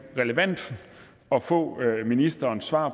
relevant at få ministerens svar